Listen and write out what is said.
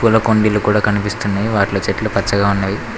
పూల కుండీలు కూడా కనిపిస్తున్నాయి వాటిలో చెట్లు పచ్చగా ఉన్నవి.